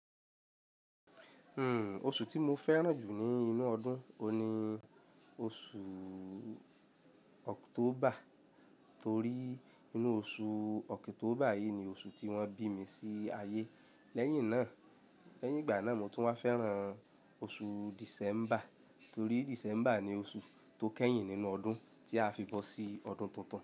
Hmm oṣù tí mo fẹ́ràn jù ní inú ọdún, oun ni oṣù October, torí inú oṣù October yìí ni oṣù tí wọ́n bí mi sí ayé. Lẹ́yìn náà, lẹ́yìn ìgbà náà mo tún wá fẹ́ràn oṣù December, torí December ni oṣù tó kẹ́yìn nínú ọdún tí a fi bọ́ sí ọdún tuntun.